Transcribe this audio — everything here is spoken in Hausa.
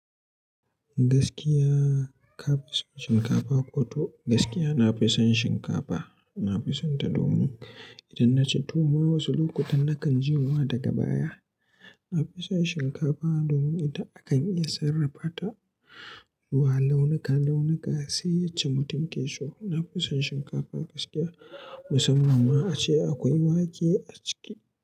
Gaskiya ka fi son shinkafa, ko to gaskiya na fi son shinkafa. Na fi sonta domin idan na ci tuwo wasu lokutan nakan jin wa daga baya. Na fi son shinkafa domin ita akan iya sarrafa ta zuwa launuka-launuka sai yacce mutum ke so. Na fi son shinkafa gaskiya musamman ma ace akwai wake a ciki.